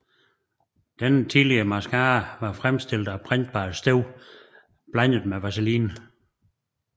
Denne tidlige mascara var fremstillet af brændbart støv blandet med vaseline